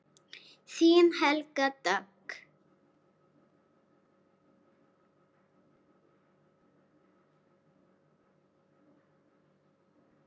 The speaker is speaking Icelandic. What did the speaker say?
Þín Helga Dögg.